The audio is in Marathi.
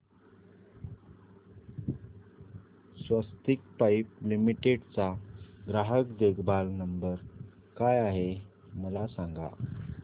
स्वस्तिक पाइप लिमिटेड चा ग्राहक देखभाल नंबर काय आहे मला सांगा